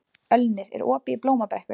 Ölnir, er opið í Blómabrekku?